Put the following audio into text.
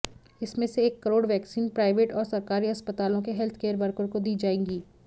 इसमें से एक करोड़ वैक्सीन प्राइवेट और सरकारी अस्पतालों के हेल्थकेयर वर्कर को दी जाएंगी